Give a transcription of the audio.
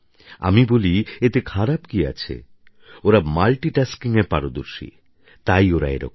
আমি বলি এতে খারাপ কী আছে ওরা মাল্টিটাস্কিংএ পারদর্শী তাই ওরা এরকম করে